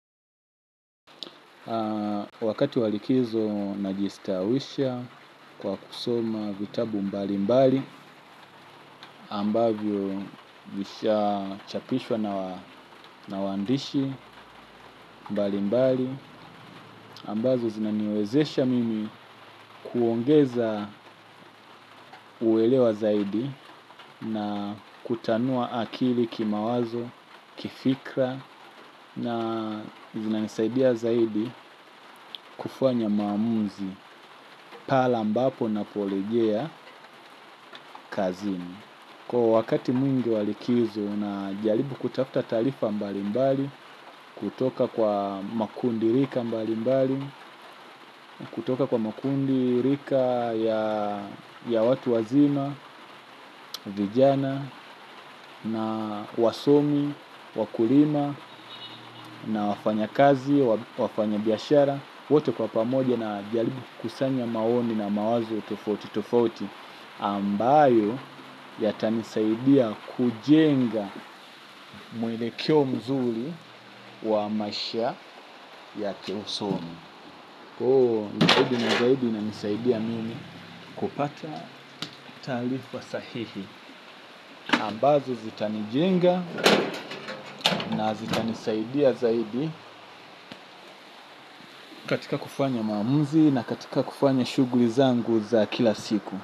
Wakati walikizo na jistawisha kwa kusoma vitabu mbali mbali ambavyo visha chapishwa na waandishi mbali mbali ambazo zinaniwezesha mimi kuongeza huelewa zaidi na kutanua akili kimawazo kifikra na zinanisaidia zaidi kufanya maamuzi. Pale ambapo na polejea kazini. Kwa wakati mwingi walikizo najalibu kutafuta talifa mbali mbali. Kutoka kwa makundi rika mbali mbali kutoka kwa makundi rika ya watu wazima vijana na wasomi wakulima na wafanya kazi wafanya biashara. Wote kwa pamoja na jaribu kusanya maoni na mawazo tofauti tofauti ambayo ya tanisaidia kujenga mwelekeo mzuri wa maisha ya kiusomi. Koo, jaidi na jaidi ina nisaidia mimi kupata taalifa sahihi. Ambazo zitanijenga na zitanisaidia zaidi katika kufanya maamuzi na katika kufanya shuguli zangu za kila siku.